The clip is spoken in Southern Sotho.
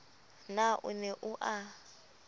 na o ne o a